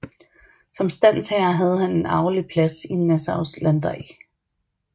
Som standsherre have han en arvelig plads i Nassaus landdag